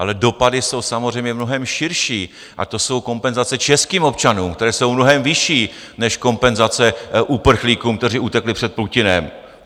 Ale dopady jsou samozřejmě mnohem širší, a to jsou kompenzace českým občanům, které jsou mnohem vyšší než kompenzace uprchlíkům, kteří utekli před Putinem.